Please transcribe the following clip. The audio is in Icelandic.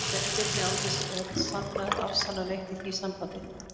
Sveinbirni, án þess að sanna eða afsanna neitt í því sambandi.